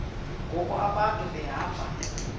ngoku abantu behamba